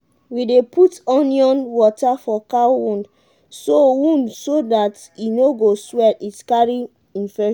we dey put onion water for cow wound so wound so dat e no go swell it carry infection.